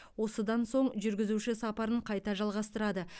осыдан соң жүргізуші сапарын қайта жалғастырады